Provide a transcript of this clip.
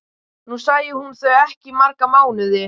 Nú sæi hún þau ekki í marga mánuði.